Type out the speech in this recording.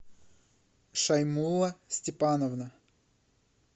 шаймова степановна